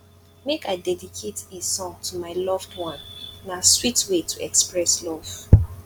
make i dedicate a song to my loved one na sweet way to express love